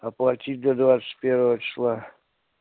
оплатить до двадцать первого числа